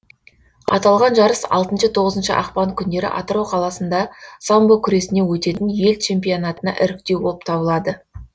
аталған жарыс алтыншы тоғызыншы ақпан күндері атырау қаласында самбо күресінен өтетін ел чемпионатына іріктеу болып табылады